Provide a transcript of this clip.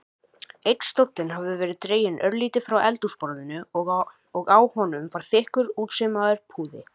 Einn stóllinn hafði verið dreginn örlítið frá eldhúsborðinu og á honum var þykkur, útsaumaður púði.